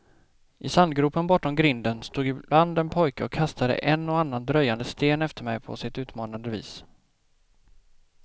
I sandgropen bortom grinden stod ibland en pojke och kastade en och annan dröjande sten efter mig på sitt utmanande vis.